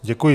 Děkuji.